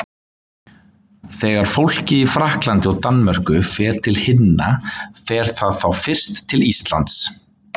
Þegar fólkið í Frakklandi og Danmörku fer til himna fer það þá fyrst til Íslands?